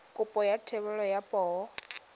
kopo ya thebolo ya poo